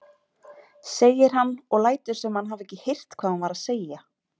segir hann og lætur sem hann hafi ekki heyrt hvað hún var að segja.